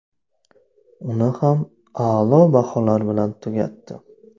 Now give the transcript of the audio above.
Uni ham a’lo baholar bilan tugatdi.